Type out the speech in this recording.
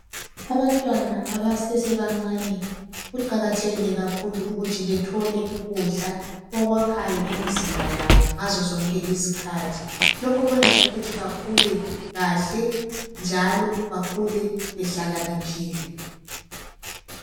Abantwana abasase bancane kuqakathekile kakhulu ukuthi bathole ukudla okwakhayo imzimba yabo ngazo zonke izikhathi, lokhu kwenza ukuthi bakhule kahle njalo bakhule behlakaniphile.